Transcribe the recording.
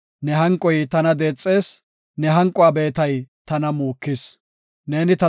Ne hanqoy tana deexees; ne hanquwa beetay tana muukis. Salaha